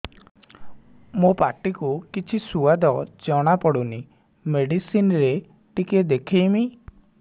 ମୋ ପାଟି କୁ କିଛି ସୁଆଦ ଜଣାପଡ଼ୁନି ମେଡିସିନ ରେ ଟିକେ ଦେଖେଇମି